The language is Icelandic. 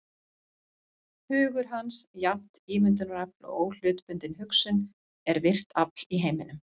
Hugur hans, jafnt ímyndunarafl og óhlutbundin hugsun, er virkt afl í heiminum.